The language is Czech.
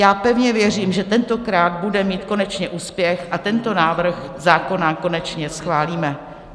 Já pevně věřím, že tentokrát bude mít konečně úspěch a tento návrh zákona konečně schválíme.